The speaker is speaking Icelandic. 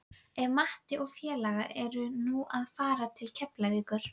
Ef Matti og félagar eru nú að fara til Keflavíkur!